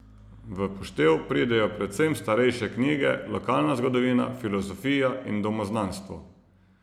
V poštev pridejo predvsem starejše knjige, lokalna zgodovina, filozofija in domoznanstvo.